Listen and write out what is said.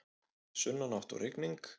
Sunnanátt og rigning